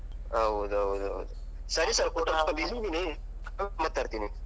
ಹೌದೌದು ಹೌದು. ಸರಿ sir ನಾನ್ ಸ್ವಲ್ಪ busy ಇದೀನಿ. ಆಮೇಲ್ ಮಾತಾಡ್ತಿನಿ.